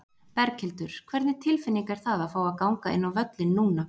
Berghildur: Hvernig tilfinning er það fá að ganga inn á völlinn núna?